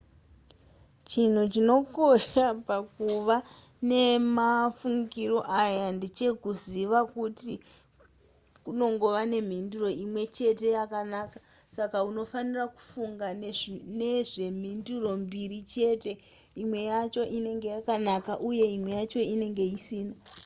chinhu chinokosha pakuva nemafungiro aya ndechekuziva kuti kunongova nemhinduro imwe chete yakanaka saka unofanira kufunga nezvemhinduro mbiri chete imwe yacho inenge yakanaka uye imwe yacho inenge isina